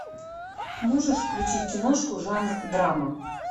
можешь включить киношку жанр драма